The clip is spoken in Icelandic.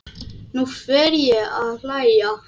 Nú fer ég að hlæja.